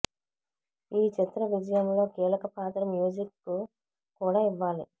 ఈ చిత్ర విజయంలో కీలక పాత్ర మ్యూజిక్ కు కూడా ఇవ్వాలి